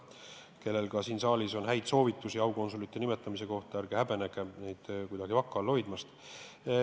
Kui kellelgi on siin saalis häid soovitusi aukonsulite nimetamise kohta, siis ärge häbenege, ärge hoidke neid kuidagi vaka all!